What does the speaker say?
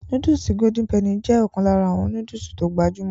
Nóódùsì Golden penny jé ọ̀kan lára àwọn nóódùsì tó gbajúmọ̀